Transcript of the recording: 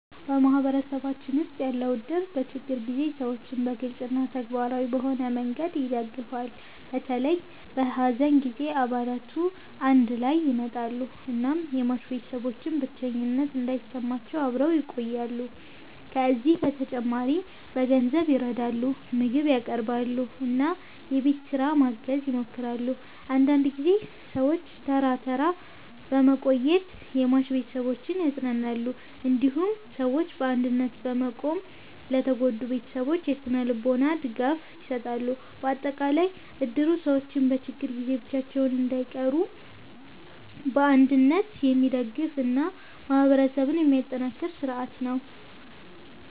በማህበረሰባችን ውስጥ ያለው እድር በችግር ጊዜ ሰዎችን በግልጽ እና ተግባራዊ በሆነ መንገድ ይደግፋል። በተለይ በሐዘን ጊዜ አባላቱ አንድ ላይ ይመጣሉ እናም የሟች ቤተሰቦች ብቸኝነት እንዳይሰማቸው አብረው ይቆያሉ። ከዚህ በተጨማሪ በገንዘብ ይረዳሉ፣ ምግብ ያቀርባሉ እና የቤት ስራ ማገዝ ይሞክራሉ። አንዳንድ ጊዜ ሰዎች ተራ ተራ በመቆየት የሟች ቤተሰቦችን ያጽናናሉ። እንዲሁም ሰዎች በአንድነት በመቆም ለተጎዱ ቤተሰቦች የስነ-ልቦና ድጋፍ ይሰጣሉ። በአጠቃላይ እድሩ ሰዎች በችግር ጊዜ ብቻቸውን እንዳይቀሩ በአንድነት የሚደግፍ እና ማህበረሰብን የሚያጠናክር ስርዓት ነው።